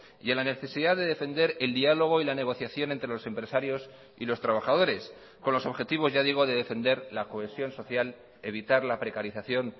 y a la necesidad de defender el diálogo y la negociación entre los empresarios y los trabajadores con los objetivos ya digo de defender la cohesión social evitar la precarización